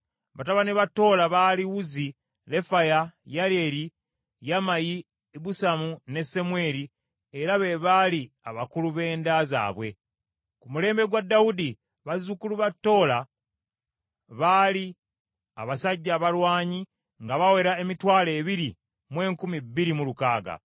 Batabani ba Tola baali Uzzi, Lefaya, Yeryeri, Yamayi, Ibusamu ne Semweri, era be baali abakulu b’enda zaabwe. Ku mulembe gwa Dawudi, bazzukulu ba Tola baali abasajja abalwanyi nga bawera emitwalo ebiri mu enkumi bbiri mu lukaaga.